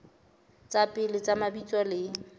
tsa pele tsa mabitso le